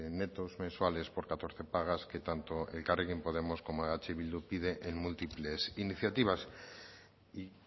netos mensuales por catorce pagas que tanto elkarrekin podemos como eh bildu pide en múltiples iniciativas y